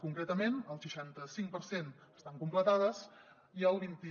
concretament el seixanta cinc per cent estan completades i el vint i